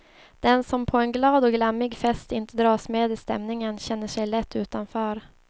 Den som på en glad och glammig fest inte dras med i stämningen känner sig lätt utanför.